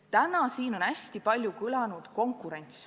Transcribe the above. Täna on siin hästi palju kõlanud sõna "konkurents".